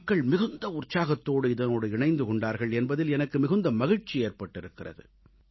மக்கள் மிகுந்த உற்சாகத்தோடு இதனோடு இணைந்து கொண்டார்கள் என்பதில் எனக்கு மிகுந்த மகிழ்ச்சி ஏற்பட்டிருக்கிறது